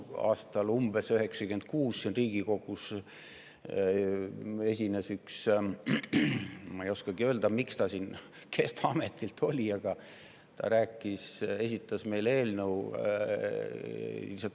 Umbes aastal 1996 esines siin Riigikogus üks inimene, ma ei oskagi öelda, kes ta ametilt oli, ja esitas meile eelnõu.